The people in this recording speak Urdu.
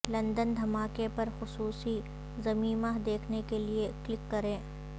لندن دھماکے پر خصوصی ضمیمہ دیکھنے کے لیے کلک کریں